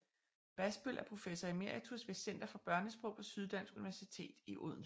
Basbøll er professor emeritus ved Center for Børnesprog på Syddansk Universitet i Odense